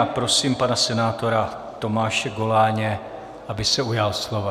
A prosím pana senátora Tomáše Goláně, aby se ujal slova.